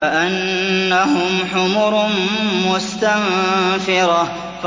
كَأَنَّهُمْ حُمُرٌ مُّسْتَنفِرَةٌ